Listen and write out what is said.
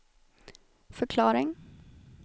förklaring